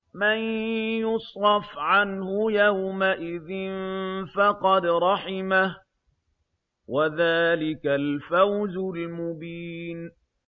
مَّن يُصْرَفْ عَنْهُ يَوْمَئِذٍ فَقَدْ رَحِمَهُ ۚ وَذَٰلِكَ الْفَوْزُ الْمُبِينُ